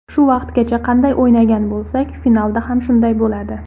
Shu vaqtgacha qanday o‘ynagan bo‘lsak, finalda ham shunday bo‘ladi.